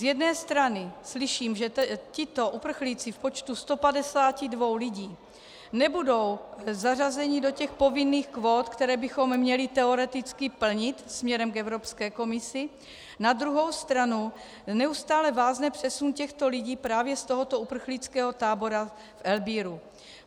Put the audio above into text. Z jedné strany slyším, že tito uprchlíci v počtu 152 lidí nebudou zařazeni do těch povinných kvót, které bychom měli teoreticky plnit směrem k Evropské komisi, na druhou stranu neustále vázne přesun těchto lidí právě z tohoto uprchlického tábora v Erbílu.